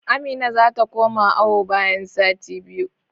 Amina zata koma awo bayan sati biyu